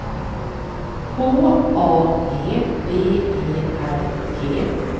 H A G B E R G